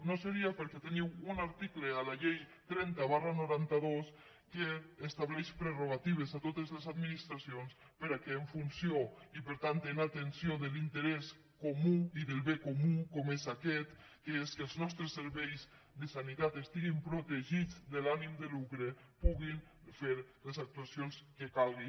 no ho seria perquè teniu un article a la llei trenta dinou noranta dos que estableix prerrogatives a totes les administracions perquè en funció i per tant en atenció de l’interès comú i del bé comú com és aquest que és que els nostres serveis de sanitat estiguin protegits de l’ànim de lucre puguin fer les actuacions que calgui